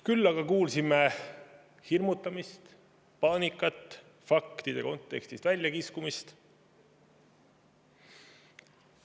Küll aga kuulsime hirmutamist, paanikat, faktide kontekstist väljakiskumist.